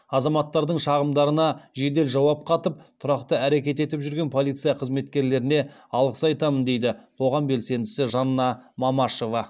азаматтардың шағымдарына жедел жауап қатып тұрақты әрекет етіп жүрген полиция қызметкерлеріне алғыс айтамын дейді қоғам белсендісі жанна мамашева